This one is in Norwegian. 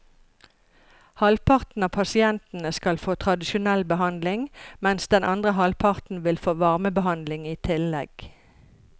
Halvparten av pasientene skal få tradisjonell behandling, mens den andre halvparten vil få varmebehandling i tillegg.